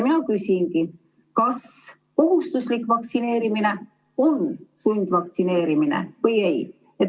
Mina küsingi, kas kohustuslik vaktsineerimine on sundvaktsineerimine või ei.